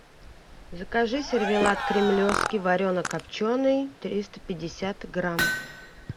закажи сервелат кремлевский варено копченый триста пятьдесят грамм